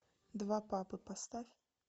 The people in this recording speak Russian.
два папы поставь